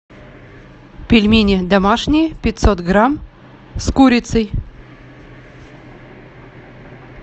пельмени домашние пятьсот грамм с курицей